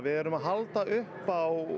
erum að halda upp á